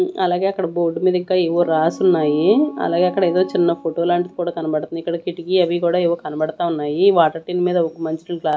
అలాగే అక్కడ బోర్డు మీద ఇంకా ఏవో రాసి ఉన్నాయి అలాగే అక్కడ ఏదో చిన్న ఫోటో లాంటిది కూడా కనబడుతుంది. ఇక్కడ కిటికీ అవి కూడా ఏవో కూడా కనబడతా ఉన్నాయి వాటర్ టిన్ మీద ఒక మంచి నీళ్ళ గ్లాస్ --